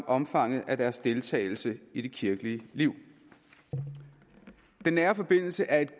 omfanget af deres deltagelse i det kirkelige liv den nære forbindelse er et